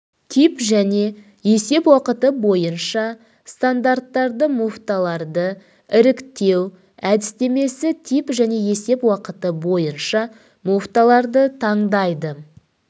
тип және есеп уақыты бойынша стандартты муфталарды іріктеу әдістемесі тип және есеп уақыты бойынша муфталарды таңдайды